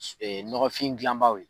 Ɛɛ nɔgɔnfin dilanbaw ye.